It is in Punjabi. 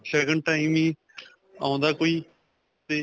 ਸ਼ਗੁਨ time ਹੀ, ਆਉਂਦਾ ਕੋਈ, 'ਤੇ.